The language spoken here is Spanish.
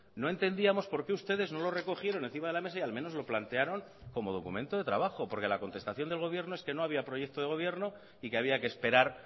no entendíamos por qué ustedes no lo recogieron encima de la mesa y al menos lo plantearon como documento de trabajo porque la contestación del gobierno es que no había proyecto de gobierno y que había que esperar